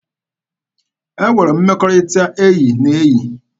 E nwere mmekọrịta enyi na enyi.